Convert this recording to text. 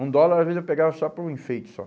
Um dólar, às vezes, eu pegava só por enfeite, só.